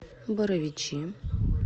боровичи